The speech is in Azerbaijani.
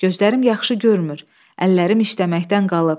Gözlərim yaxşı görmür, əllərim işləməkdən qalıb.